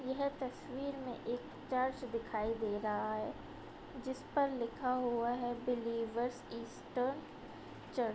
यह तस्वीर में एक चर्च दिखाई दे रहा है जिस पर लिखा हुआ है बिलीवर्स ईज द चर्च |